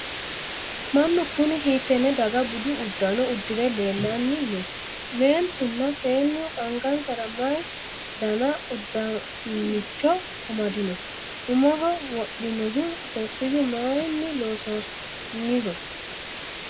mannu kuni hiittenne daga budu uddano uddire leellanni no? meentunna seennu angansara mayi dani uduunnicho amadino? umoho wodhinohu koffiyyu mayiinni loonsooniho?